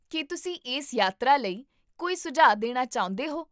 ਕੀ ਤੁਸੀਂ ਇਸ ਯਾਤਰਾ ਲਈ ਕੋਈ ਸੁਝਾਅ ਦੇਣਾ ਚਾਹੁੰਦੇ ਹੋ?